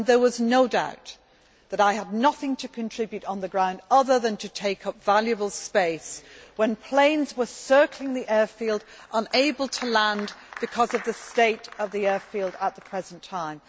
There was no doubt that I had nothing to contribute on the ground other than to take up valuable space when planes were circling the airfield unable to land because of the state of the airfield at the present time.